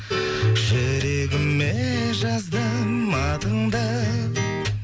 жүрегіме жаздым атыңды